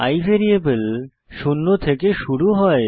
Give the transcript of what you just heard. i variable শূন্য থেকে শুরু হয়